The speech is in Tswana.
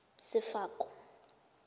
sefako